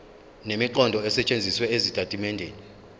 nemiqondo esetshenzisiwe ezitatimendeni